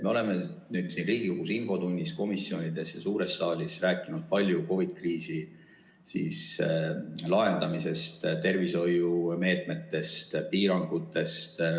Me oleme siin Riigikogu infotunnis, komisjonides ja suures saalis rääkinud palju COVID-i kriisi lahendamisest, tervishoiumeetmetest ja piirangutest.